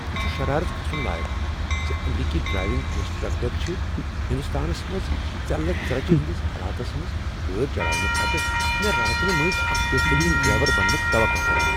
یہ چھُ شرارت كھسُن لایق زِ امریکی ڈرائیونگ انسٹرکٹر چھ ہنٛدستانس منٛز ژیلہٕ ژریچہِ ہنٛدِس حالاتس منٛز گٲڑۍ چلاونہٕ پتہٕ مےٚ راتِنہٕ مٔنٛزۍ اکھ بہترین ڈرائیور بننُٕك توقع کران۔